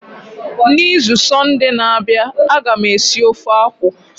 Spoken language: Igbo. N'izu sọnde na-abịa, a ga m esi ofe akwụ.